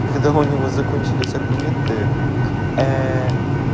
когда у него закончились аргументы к ээ